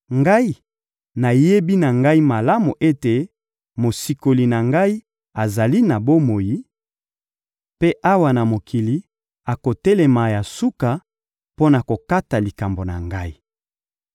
Ngai, nayebi na ngai malamu ete Mosikoli na ngai azali na bomoi, mpe, awa na mokili, akotelema ya suka mpo na kokata likambo na ngai.